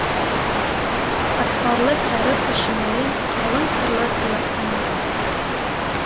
қатпарлы кәрі пішінімен қалың сырлы сияқтанады